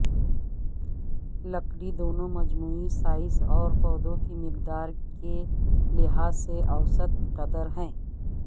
لکڑی دونوں مجموعی سائز اور پودوں کی مقدار کے لحاظ سے اوسط قدر ہے